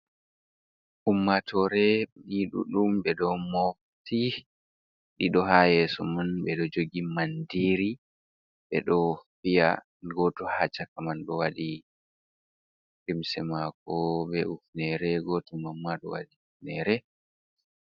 Ummatore ni ɗuddum ɓe ɗo mofti ɗiɗo ha yesso man ɓeɗo jogi mandiri ɓe ɗo fiya goto ha chaka man ɗo waɗi limse mako be ufnere goto mamma ɗo wadi ufnere.